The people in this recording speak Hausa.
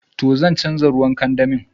To, zan chanza ruwan kandami.